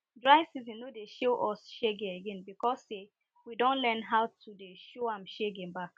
dry season no dey show us shege again because say we don learn how to dey show am shege back